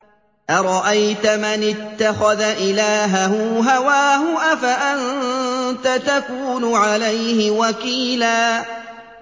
أَرَأَيْتَ مَنِ اتَّخَذَ إِلَٰهَهُ هَوَاهُ أَفَأَنتَ تَكُونُ عَلَيْهِ وَكِيلًا